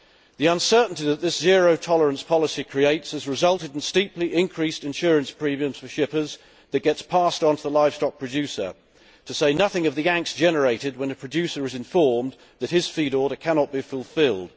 The uncertainty that this zero tolerance policy creates has resulted in steeply increased insurance premiums for shippers that get passed on to the livestock producer to say nothing of the angst generated when a producer is informed that his feed order cannot be fulfilled.